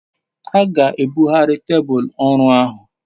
a ga ebughari tebul oru ahu